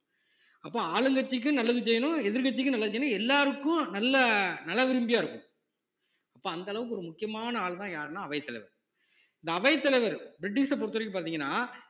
அப்ப ஆளுங்கட்சிக்கும் நல்லது செய்யணும் எதிர்க்கட்சிக்கும் நல்லது செய்யணும் எல்லாருக்கும் நல்ல நலம் விரும்பியா இருக்கணும் அப்ப அந்த அளவுக்கு ஒரு முக்கியமான ஆள்னா யாருன்னா அவைத்தலைவர் இந்த அவைத்தலைவர் பிரிட்டிஷ பொறுத்தவரைக்கும் பாத்தீங்கன்னா